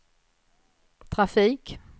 trafik